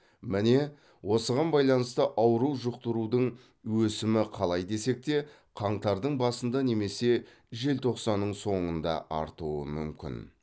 міне осыған байланысты ауру жұқтырудың өсімі қалай десек те қаңтардың басында немесе желтоқсанның соңында артуы мүмкін